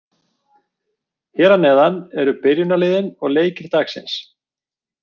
Hér að neðan eru byrjunarliðin og leikir dagsins.